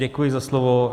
Děkuji za slovo.